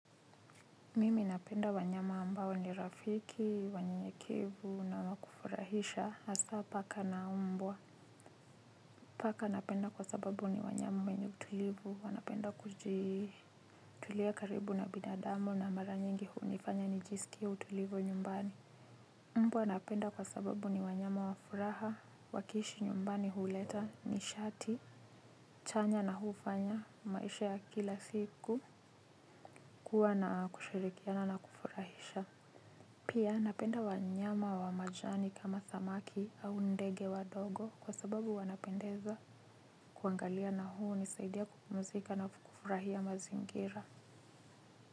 Mimi napenda wanyama ambao ni rafiki, wanyenyekevu na wa kufurahisha, hasa paka na umbwa. Paka napenda kwa sababu ni wanyama wenye utulivu, wanapenda kutulia karibu na binadamu na mara nyingi hunifanya nijiskie utulivu nyumbani mbwa napenda kwa sababu ni wanyama wa furaha waki ishi nyumbani huleta nishati chanya na hufanya maisha ya kila siku kuwa na kushirikiana na kufurahisha. Pia napenda wanyama wa majani kama samaki au ndege wadogo kwa sababu wanapendeza kuangalia na hunisaidia kupumzika na kufurahia mazingira.